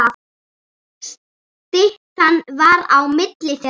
Styttan var á milli þeirra.